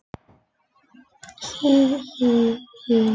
Verkefni nefndarinnar er þríþætt